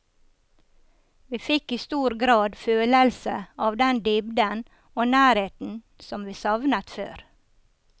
Vi fikk i stor grad følelse av den dybden og nærheten som vi savnet før.